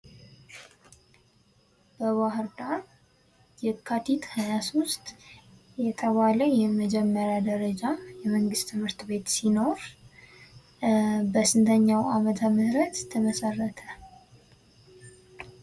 በባህር ዳር የካቲት 23 እየተባለ የመጀመሪያ ደረጃ የመንግስት ትምህርት ቤት ሲኖር ፤ በስንተኛው ዓመተ ምህረት የተመሰረተ።